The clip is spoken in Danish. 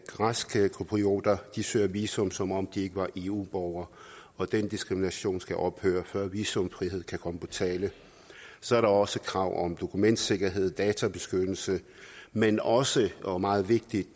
græske cyprioter søger visum som om de ikke var eu borgere og den diskrimination skal ophøre før visumfrihed kan komme på tale så er der også krav om dokumentsikkerhed databeskyttelse men også og meget vigtigt